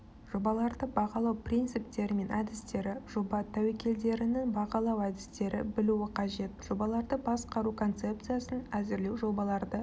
жобаларды бағалау принциптері мен әдістері жоба тәуекелдерінің бағалау әдістері білуі қажет жобаларды басқару концепциясын әзірлеу жобаларды